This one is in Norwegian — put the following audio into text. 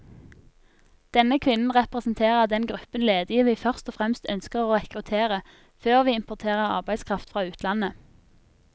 Denne kvinnen representerer den gruppen ledige vi først og fremst ønsker å rekruttere, før vi importerer arbeidskraft fra utlandet.